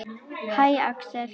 Hæ, Axel.